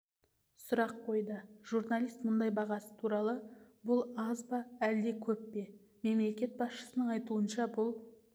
сұрақ қойды журналист мұнай бағасы туралы бұл аз ба әлде көп пе мемлекет басшысының айтуынша бұл